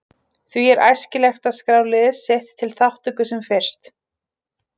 Því er æskilegt að skrá lið sitt til þátttöku sem fyrst.